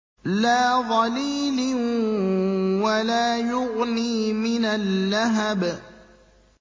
لَّا ظَلِيلٍ وَلَا يُغْنِي مِنَ اللَّهَبِ